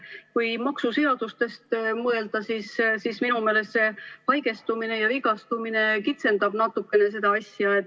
Kui maksuseadustest mõelda, siis minu meelest see haigestumine ja vigastumine kitsendab natukene seda asja?